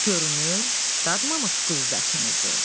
Görünür dadmamış qüvvətimizi.